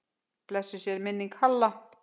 Blessuð sé minning Halla.